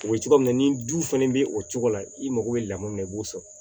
U bɛ cogoya min na ni du fɛnɛ bɛ o cogo la i mago bɛ lamɔ min na i b'o sɔrɔ